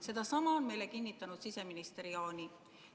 Sedasama on meile kinnitanud siseminister Jaani.